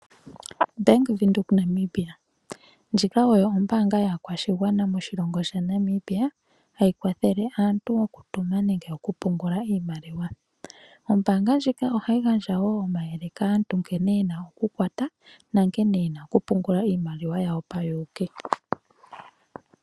Bank Widheok Namibia, ndjika oyo ombanga yakwashingwana moshilongo Sha Namibia hayi kwathele aantu okutuma nenge okupungula iimaliwa, ombanga ndjika ohayingandja wo omayele kaantu nkene yena oku kwata nankene yena oku pungula iimaliwa yawo pawuyuki.